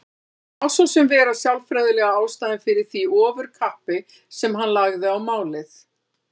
Þetta má svo sem vera sálfræðilega ástæðan fyrir því ofurkappi sem hann lagði á málið.